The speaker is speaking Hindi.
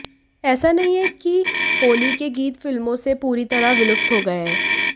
ऐसा नहीं है कि होली के गीत फिल्मों से पूरी तरह विलुप्त हो गए हैं